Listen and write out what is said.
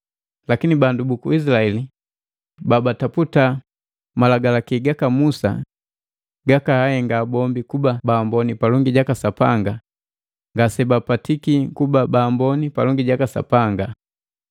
lakini bandu buku Izilaeli babataputa malagalaki jaka Musa gakaahenga bombi kuba baamboni palongi jaka Sapanga, ngase bapatiki kuba baamboni palongi jaka Sapanga.